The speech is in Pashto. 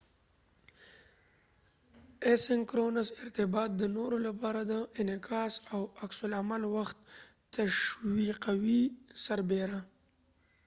اسینکرونس ارتباط د نورو لپاره د انعکاس او عکس العمل وخت تشويقوي سربیره